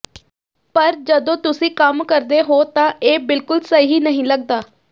ਪਰ ਜਦੋਂ ਤੁਸੀਂ ਕੰਮ ਕਰਦੇ ਹੋ ਤਾਂ ਇਹ ਬਿਲਕੁਲ ਸਹੀ ਨਹੀਂ ਲੱਗਦਾ